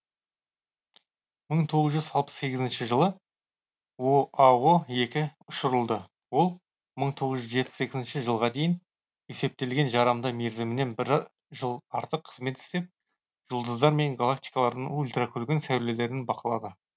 мың тоғыз жүз алпыс сегізінші жылы оао екі ұшырылды ол мың тоғыз жүз жетпіс екінші жылға дейін есептелген жарамды мерзімінен бір жыл артық қызмет істеп жұлдыздар мен галактикалардың ультракүлгін сәулелерін бақылады